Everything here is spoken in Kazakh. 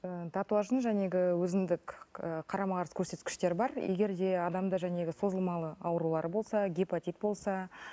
ы татуаждың өзіндік і қарама қарсы көрсеткіштер бар егер де адамда созылмалы аурулар болса гепатит болса